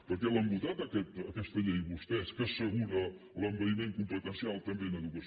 per què l’han votat aquesta llei vostès que assegura l’envaïment competencial també en educació